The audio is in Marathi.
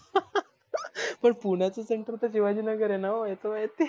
मघ पुण्याच center शिवाजी नगर आहे ना हे त माहिती आह